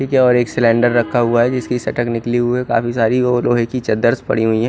यह क्या और यह सिलेंडर रखा हुआ है जिसकी सटक निकली हुई है काफी सारे और रुई की चदर्स पड़ी हुई है।